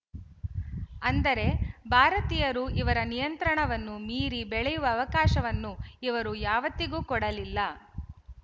ಅಂದರೆ ಭಾರತೀಯರು ಇವರ ನಿಯಂತ್ರಣವನ್ನು ಮೀರಿ ಬೆಳೆಯುವ ಅವಕಾಶವನ್ನು ಇವರು ಯಾವತ್ತಿಗೂ ಕೊಡಲಿಲ್ಲ